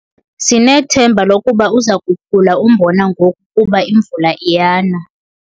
Sinethemba lokuba uza kukhula umbona ngoku kuba imvula iyana.